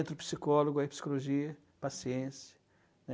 Entre o psicólogo e a psicologia, paciência, né?